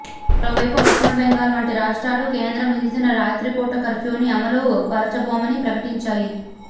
మరోవైపు పశ్చిమ బెంగాల్ వంటి రాష్ట్రాలు కేంద్రం విధించిన రాత్రి పూట కర్ఫ్యూని అమలు పరచబోమని ప్రకటించాయి